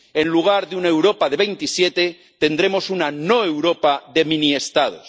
En lugar de una Europa de 27 tendremos una no Europa de mini Estados.